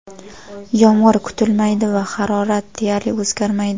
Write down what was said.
Yomg‘ir kutilmaydi va harorat deyarli o‘zgarmaydi.